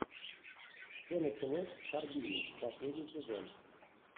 все началось в харбине последний сезон